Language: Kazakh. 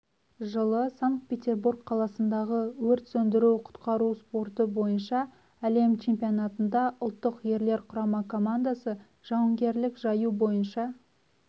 жылы санкт-петербург қаласындағы өрт сөндіру-құтқару спорты бойынша әлем чемпионатында ұлттық ерлер құрама командасы жауынгерлік жаю бойынша